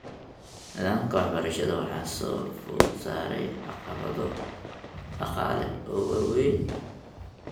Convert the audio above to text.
Nidaamka waxbarashada waxaa soo food saaray caqabado dhaqaale oo waaweyn.